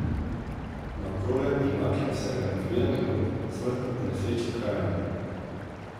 Na Okroglem pri Naklem se je med nabiranjem gob smrtno ponesrečil krajan.